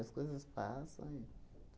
As coisas passam e